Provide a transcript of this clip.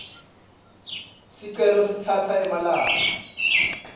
sicelo singatsatsa emalanga